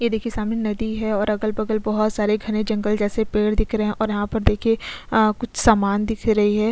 यहाँ देखिये सामने नदी है और अगल-बगल बहोत सारे घने जंगल जैसे पेड़ दिख रहे है और यहाँ पर देखिये कुछ समान दिख रही है।